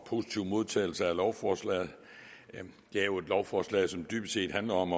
positiv modtagelse af lovforslaget det er jo et lovforslag som dybest set handler om